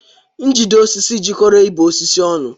Njide osisi jikoro ibe osisi ọnụ.